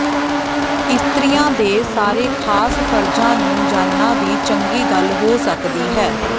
ਇਸਤਰੀਆਂ ਦੇ ਸਾਰੇ ਖਾਸ ਫਰਜ਼ਾਂ ਨੂੰ ਜਾਣਨਾ ਵੀ ਚੰਗੀ ਗੱਲ ਹੋ ਸਕਦੀ ਹੈ